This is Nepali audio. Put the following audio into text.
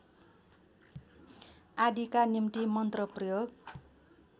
आदिका निम्ति मन्त्र प्रयोग